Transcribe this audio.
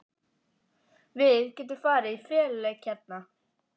Við getum farið í feluleik hérna!